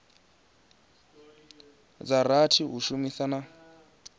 dza rathi u shumana na